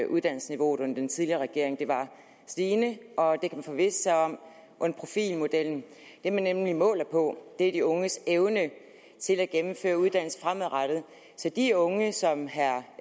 uddannelsesniveauet under den tidligere regering det var stigende og det man forvisse sig om under profilmodellen det man nemlig måler på er de unges evne til at gennemføre uddannelse fremadrettet så de unge som herre